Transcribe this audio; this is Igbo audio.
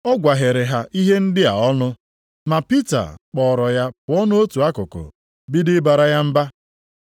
Ọ gwaghere ha ihe ndị a ọnụ. Ma Pita kpọọrọ ya pụọ nʼotu akụkụ, bido ịbara ya mba.